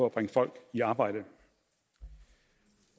at bringe folk i arbejde